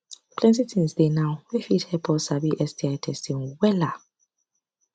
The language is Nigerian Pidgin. i sabi say sti testing no be only to prevent e mean respect too